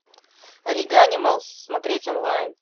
ориганималс смотреть онлайн